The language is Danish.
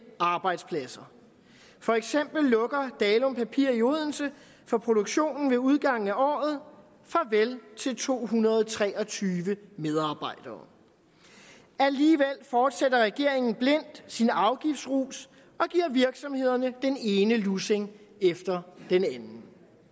arbejdspladser for eksempel lukker dalum papir i odense for produktionen ved udgangen af året farvel til to hundrede og tre og tyve medarbejdere alligevel fortsætter regeringen blindt sin afgiftsrus og giver virksomhederne den ene lussing efter den anden